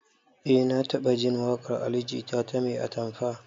Eh na taɓajin waƙar ali jita ta 'mai atamfa'